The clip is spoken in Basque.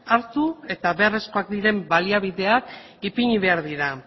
hartu eta beharrezkoak diren baliabideak ipini behar dira